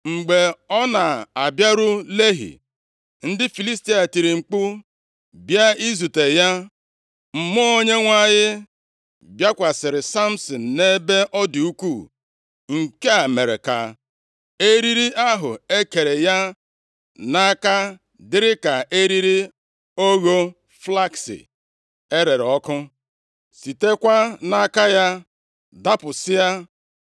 Mgbe ọ na-abịaru Lehi, ndị Filistia tiiri mkpu, bịa izute ya. Mmụọ Onyenwe anyị bịakwasịrị Samsin nʼebe ọ dị ukwuu. Nke a mere ka eriri ahụ e kere ya nʼaka dịrị ka eriri ogho flakisi erere ọkụ, sitekwa nʼaka ya dapụsịa.